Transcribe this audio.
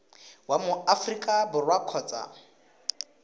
wa mo aforika borwa kgotsa